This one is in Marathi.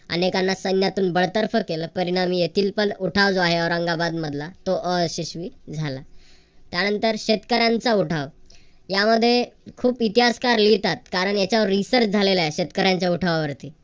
अनेकांना सैन्यातून बळसरकर केलं परिणामी येथील उठायचा आहे औरंगाबाद मधला तो अयशस्वी झाला त्यानंतर शेतकऱ्यांचा उठाव यामध्ये खूप इतिहासकार लिहितात कारण याच्यावर research झालेलं हाय शेतकऱ्यांच्या उठवावरती